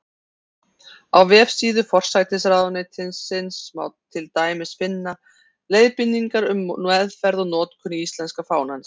Á vefsíðu forsætisráðuneytisins má til dæmis finna: Leiðbeiningar um meðferð og notkun íslenska fánans.